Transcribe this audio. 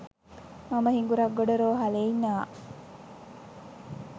මම හිඟුරක්ගොඩ රෝහ‍ලේ ඉන්නවා